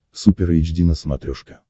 супер эйч ди на смотрешке